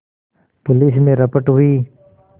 police में रपट हुई